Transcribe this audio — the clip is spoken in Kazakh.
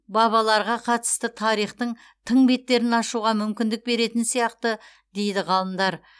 бабаларға қатысты тарихтың тың беттерін ашуға мүмкіндік беретін сияқты дейді ғалымдар